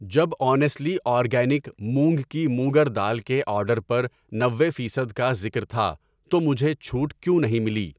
جب honestly organic مونگ کی موگر دال کے آرڈر پر نوے فیصد کا ذکر تھا تو مجھے چھوٹ کیوں نہیں ملی؟